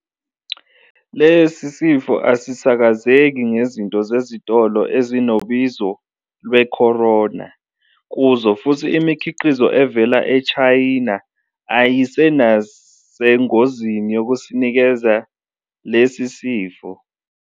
Lesi sifo asisakazeki ngezinto zezitolo ezinobizo lwe- "Corona" kuzo futhi imikhiqizo evela eChina ayinasengozini yokusinikeza lesi sifo.